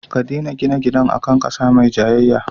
Ka dena gina gidan a kan ƙasa mai jayayya